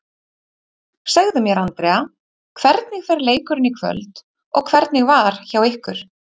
Segðu mér Andrea, hvernig fer leikurinn í kvöld og hvernig var hjá ykkur?